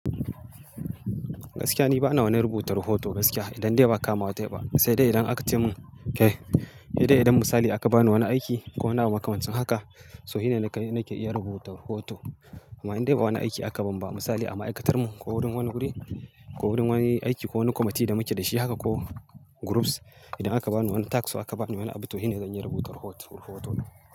Gaskiya ni ba na wani rubuta rahoto gaskiya. Idan dai ba kamawa ta yi ba, sai dai idan aka ce mun kai, idan idan misali aka bani wani aiki ko wani abu makamancin haka, so shi ne nagani, nake iya rubuta rahoto. Amma idan dai ba wani aiki aka ban ba misali a ma'aikatarmu ko wurin wani guri ko wurin wani aiki ko wani commitee da muke da shi haka ko groups idan aka bani wani task ko aka bani wani abu, to shi ne zan iya rubuta report, rahoto.